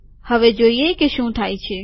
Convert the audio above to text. હવે જોઈએ શું થાય છે